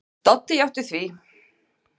Doddi játti því.